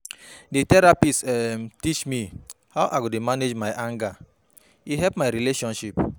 Di therapist um teach me how I go dey manage my anger, e help my relationship.